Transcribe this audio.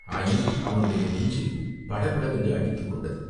ஆயினும் அவனுடைய நெஞ்சு படபடவென்று அடித்துக் கொண்டது.